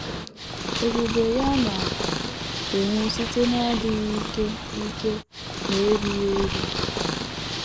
Ebube ya na - enwu site n’adịghị ike ike na erughị eru. ”